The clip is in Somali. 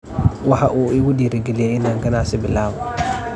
Waxa uu igu dhiiri galiyay in aan ganacsi bilaabo.